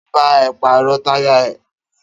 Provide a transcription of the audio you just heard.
Ta ló bá ẹ pàrọ̀ táyà ẹ?